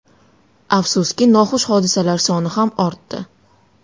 Afsuski, noxush hodisalar soni ham ortdi.